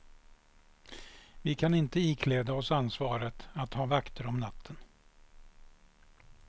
Vi kan inte ikläda oss ansvaret att ha vakter om natten.